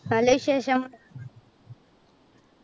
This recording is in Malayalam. നല്ല വിശേഷം.